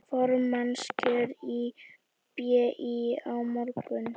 Formannskjör í BÍ á morgun